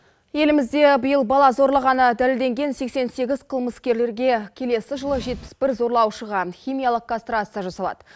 елімізде биыл бала зорлағаны дәлелденген сексен сегіз қылмыскерлерге келесі жылы жетпіс бір зорлаушыға химиялық кастрация жасалады